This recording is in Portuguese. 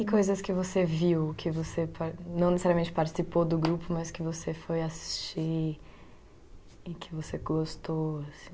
E coisas que você viu, que você pa, não necessariamente participou do grupo, mas que você foi assistir e que você gostou, assim...